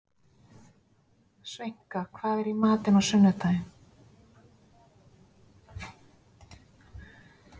Sveinka, hvað er í matinn á sunnudaginn?